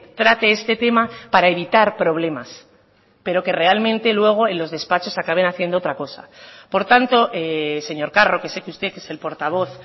trate este tema para evitar problemas pero que realmente luego en los despachos acaben haciendo otra cosa por tanto señor carro que sé que usted es el portavoz